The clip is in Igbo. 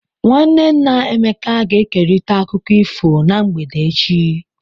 Nwanne nna Emeka ga-ekerịta akụkọ ifo na mgbede echi.